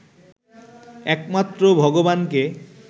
একমাত্র ভগবানকে